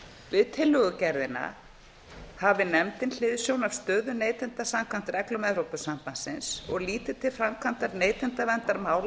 við tillögugerðina hafi nefndin hliðsjón af stöðu neytenda samkvæmt reglum evrópusambandsins og líti til framkvæmdar neytendaverndarmála